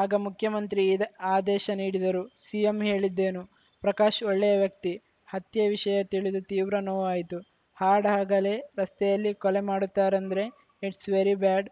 ಆಗ ಮುಖ್ಯಮಂತ್ರಿ ಈದ್ ಆದೇಶ ನೀಡಿದರು ಸಿಎಂ ಹೇಳಿದ್ದೇನು ಪ್ರಕಾಶ್‌ ಒಳ್ಳೆಯ ವ್ಯಕ್ತಿ ಹತ್ಯೆ ವಿಷಯ ತಿಳಿದು ತೀವ್ರ ನೋವಾಯಿತು ಹಾಡಹಗಲೇ ರಸ್ತೆಯಲ್ಲಿ ಕೊಲೆ ಮಾಡುತ್ತಾರಂದ್ರೆ ಇಟ್ಸ್‌ ವೆರಿ ಬ್ಯಾಡ್‌